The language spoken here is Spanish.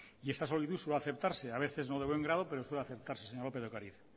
y esa solicitud suele aceptarse a veces no de buen grado pero suele aceptarse señora lopez de ocariz